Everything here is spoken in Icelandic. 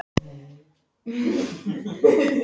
Svanhildur, hvað er að frétta?